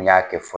N y'a kɛ